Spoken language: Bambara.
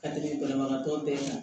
Ka tɛmɛ banabagatɔ bɛɛ kan